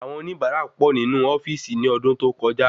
Awon oníbara pọ ní inú ofíìsì ni ọdún tó kọjá